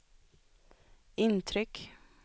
intryck